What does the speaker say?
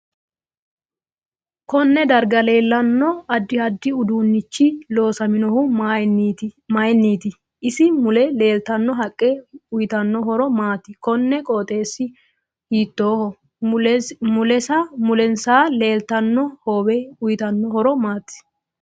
Konne darga leelano addi addi uduunichi loosaminohu mayiiniti isi mule leelatanno haqqe uyiitanno horo maati koni qooxeesi hitooho mulensa leeltano hoowe uyiitanno horo maati